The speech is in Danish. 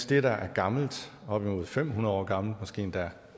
det der er gammelt op imod fem hundrede år gammelt måske endda